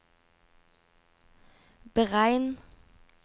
beregn